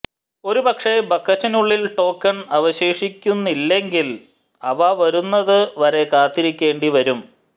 ഒരു പക്ഷേ ബക്കറ്റിനുള്ളിൽ ടോക്കൺ അവശേഷിക്കുന്നില്ലെങ്കിൽ അവ വരുന്നത് വരെ കാത്തിരിക്കേണ്ടി വരും